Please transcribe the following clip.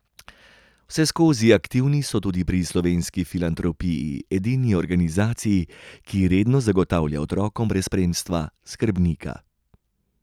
Vseskozi aktivni so tudi pri Slovenski filantropiji, edini organizaciji, ki redno zagotavlja otrokom brez spremstva skrbnika.